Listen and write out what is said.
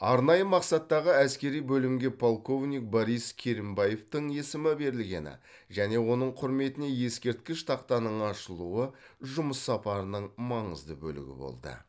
арнайы мақсаттағы әскери бөлімге полковник борис керімбаевтің есімі берілгені және оның құрметіне ескерткіш тақтаның ашылуы жұмыс сапарының маңызды бөлігі болды